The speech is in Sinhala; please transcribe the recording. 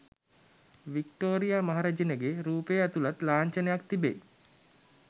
වික්ටෝරියා මහ රැජනගේ රූපය ඇතුළත් ලාංඡනයක් තිබෙයි